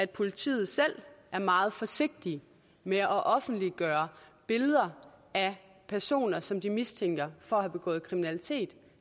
politiet selv er meget forsigtige med at offentliggøre billeder af personer som de mistænker for at have begået kriminalitet